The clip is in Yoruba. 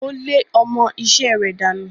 Ó lé ọmọ-isẹ́ rẹ̀ dànù.